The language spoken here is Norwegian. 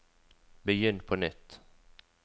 begynn på nytt